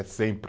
É sempre.